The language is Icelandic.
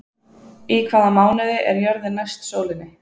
Í hvaða mánuði er jörðin næst sólinni?